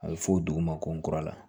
A bɛ fɔ o dugu ma ko n kura la